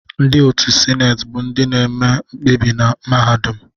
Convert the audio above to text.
Ndị otu Sineti bụ ndị na-eme mkpebi na mahadum.